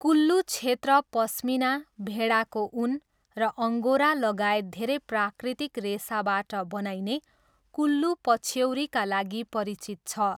कुल्लू क्षेत्र पस्मिना, भेडाको ऊन र अङ्गोरालगायत धेरै प्राकृतिक रेसाबाट बनाइने कुल्लू पछ्यौरीका लागि परिचित छ।